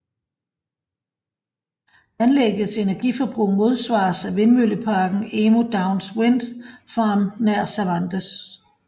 Anlæggets energiforbrug modsvares af vindmølleparken Emu Downs Wind Farm nær Cervantes